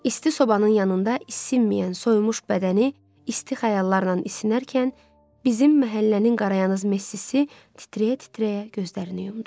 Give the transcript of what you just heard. İsti sobanın yanında isinməyən, soyumuş bədəni isti xəyallarla isinərkən bizim məhəllənin qarayaz Messisi titrəyə-titrəyə gözlərini yumdu.